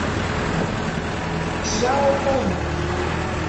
чжаотун